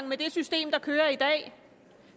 med det system der kører i dag